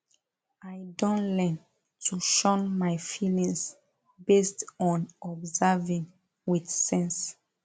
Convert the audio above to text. i don learn to shun my feelings based on observing with sense